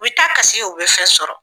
U bi taa kasi u bi fen sɔrɔ